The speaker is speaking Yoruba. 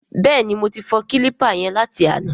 Bẹ́ẹ̀ni, mo ti fọ kílípà yẹn láti àná.